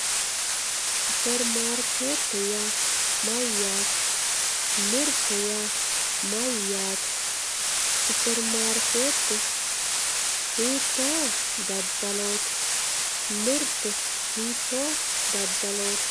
Superimaarikete yaa mayatte, mirte yaa mayate, supermarikette hiito dadalloti, mirte hiitto dadalloti